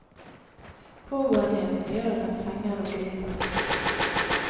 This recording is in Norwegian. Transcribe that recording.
Pågåenheten gjør at den fenger og griper.